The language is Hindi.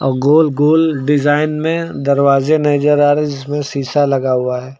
गोल गोल डिजाइन में दरवाजे नजर आ रहे जिसमें शीशा लगा हुआ है।